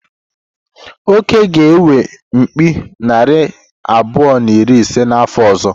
Oke ga-enwe mkpi narị abụọ na iri ise n’afọ ọzọ.